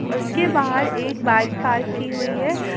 उसके बाहर एक बाइक पार्क की हुई है।